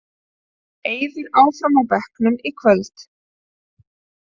Eiður áfram á bekknum í kvöld